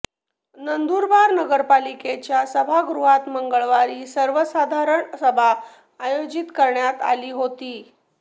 नंदुरबार नगरपालिकेच्या सभागृहात मंगळवारी सर्वसाधारण सभा आयोजित करण्यात आली होती